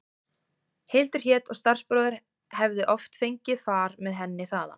Hildur hét og starfsbróðir hefði oft fengið far með henni þaðan.